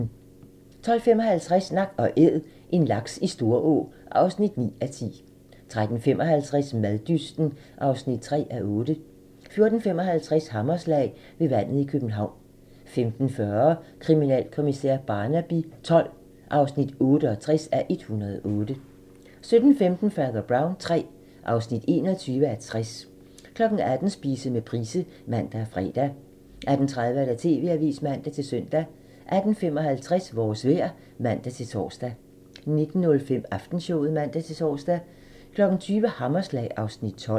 12:55: Nak & Æd - en laks i Storå (9:10) 13:55: Maddysten (3:8) 14:55: Hammerslag - ved vandet i København 15:40: Kriminalkommissær Barnaby XII (68:108) 17:15: Fader Brown III (21:60) 18:00: Spise med Price (man og fre) 18:30: TV-avisen (man-søn) 18:55: Vores vejr (man-tor) 19:05: Aftenshowet (man-tor) 20:00: Hammerslag (Afs. 12)